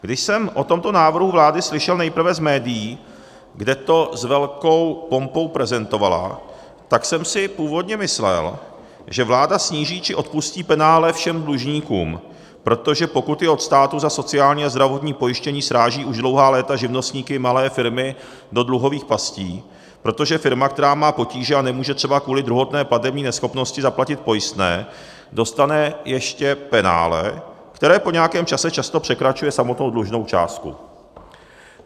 Když jsem o tomto návrhu vlády slyšel nejprve z médií, kde to s velkou pompou prezentovala, tak jsem si původně myslel, že vláda sníží či odpustí penále všem dlužníkům, protože pokuty od státu za sociální a zdravotní pojištění srážejí už dlouhá léta živnostníky, malé firmy do dluhových pastí, protože firma, která má potíže a nemůže třeba kvůli druhotné platební neschopnosti zaplatit pojistné, dostane ještě penále, které po nějakém čase často překračuje samotnou dlužnou částku.